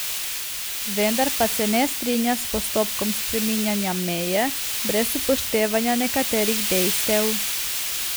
Vendar pa se ne strinja s postopkom spreminjanja meje brez upoštevanja nekaterih dejstev.